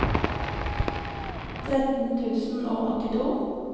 tretten tusen og åttito